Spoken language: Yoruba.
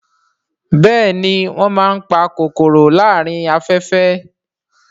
Bẹ́ẹ̀ni wọ́n máa ń pa kòkòrò láàárín afẹ́fẹ́